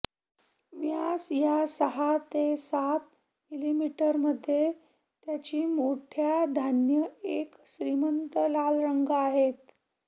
व्यास या सहा ते सात मिलीमीटर मध्ये त्याची मोठ्या धान्य एक श्रीमंत लाल रंग आहेत